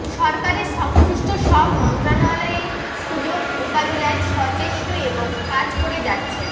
সরকারের সংশ্লিষ্ট সব মন্ত্রণালয় এ দুর্যোগ মোকাবিলায় সচেষ্ট এবং কাজ করে যাচ্ছেন